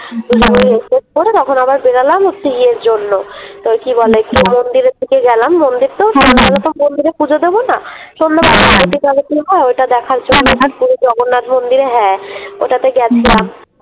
দুজনে আবার Dress ট্রেস পরে তখন আবার বেড়ালাম হচ্ছে আবার ইয়ের জন্যে ওই কি বলে একটু মন্দিরের দিকে গেলাম মন্দিরতো সন্ধ্যেবেলায়তো মন্দিরে পুজো দেবনা সন্ধ্যেবেলায় আরতি টারতি হয় ঐটা দেখার জন্যে পুরি জগন্নাথ মন্দিরে হ্যাঁ ওটাতে গেছিলাম ।